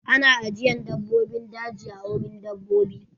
Ana ajiyan dabbobin daji a wurin dabbobi.